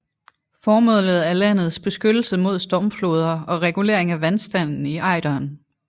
Formålet er landets beskyttelse mod stormfloder og regulering af vandstanden i Ejderen